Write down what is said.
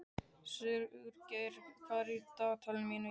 Sigurgeir, hvað er í dagatalinu mínu í dag?